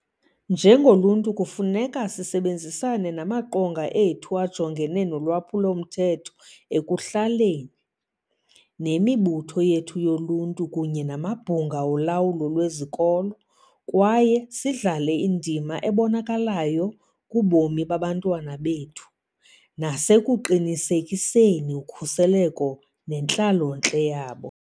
Njengoluntu, kufuneka sisebenzisane namaQonga ethu aJongene nolwaphulo-mthetho ekuHlaleni, nemibutho yethu yoluntu kunye namabhunga olawulo lwezikolo kwaye sidlale indima ebonakalayo kubomi babantwana bethu nasekuqinisekiseni ukhuseleko nentlalontle yabo.